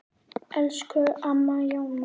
Elsku Amma Jóna.